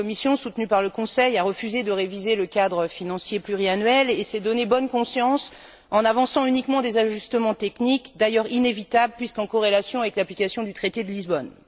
La Commission, soutenue par le Conseil, a refusé de réviser le cadre financier pluriannuel et s'est donné bonne conscience en avançant uniquement des ajustements techniques, d'ailleurs inévitables puisqu'en corrélation avec l'application du traité de Lisbonne.